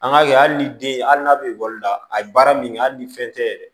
An ka kɛ hali ni den hali n'a bɛ bɔli la a ye baara min kɛ hali ni fɛn tɛ yɛrɛ